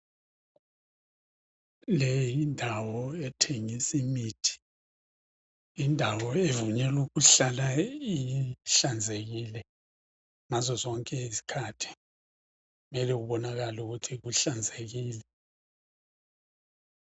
Leyi n yindawo ethengisa imithi. Indawo okumele ihlale ihlanzekile ngazo zonke izikhathi kumele kubonakale ukuthi kuhlanzekile.